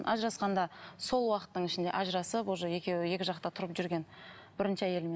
ажырасқанда сол уақыттың ішінде ажырасып уже екеуі екі жақта тұрып жүрген бірінші әйелімен